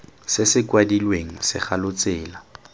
se se kwadilweng segalo tsela